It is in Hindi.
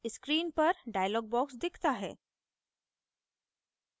screen पर dialog box दिखता है